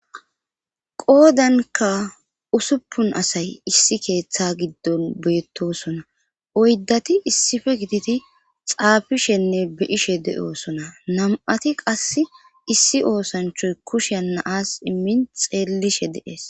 qoodanka usuppun asay issi keeththa giddon beettosona oyddati issife giditi xaafishenne be ishe de7osona nam7ati qass issi oosanchoy kushe naas immin xeellishe deees